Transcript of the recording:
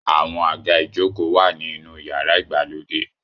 Àwọn àga ìjokòó wà ní inú yàrá ìgbàlejò.